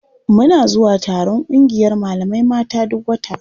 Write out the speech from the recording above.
Muna zuwa taron ƙungiyar malamai mata duk wata.